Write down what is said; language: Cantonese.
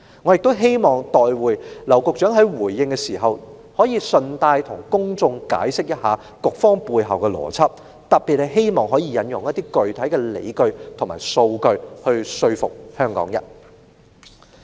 我亦希望稍後劉局長在回應時順帶向公眾解釋措施背後的邏輯，特別希望他可以引用具體理據和數據以說服香港人。